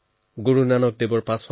গুৰু চাহিৱক মই সেৱা জনালো